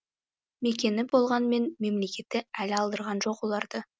мекені болғанмен мемлекеті әлі алдырған жоқ оларды